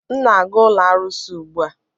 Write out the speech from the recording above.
M na-aga ụlọ arụsị ugbu a